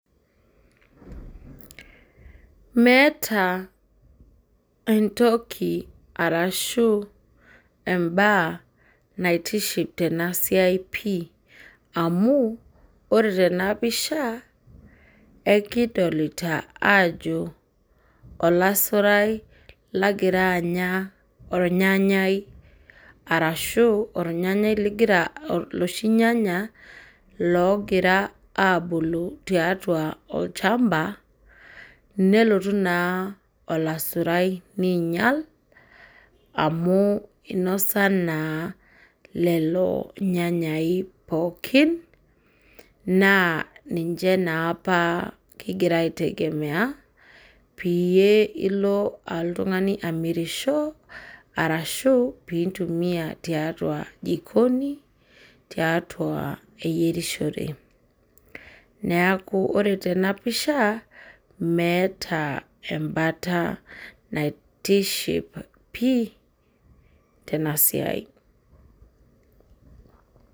Meeta entoki arashu embaa naitiship tena siai pii amu ore tena pisha ekidolita aajoo olasurai lagira anya ornyanyai arashu ornyanyai ligira loshi inyanya loogira aabulu tiatua olchmba, nelotu naa olasurai niinyal amu nose naa lelo nyanyai pookin naa ninche naa apa king'ira aitegemea peyie ilo oltung'ani amirisho arashu piintumia tiatua jikoni tiatua eyerishore. Neeku ore tena pisha meeta embata naitiship pii tena siai.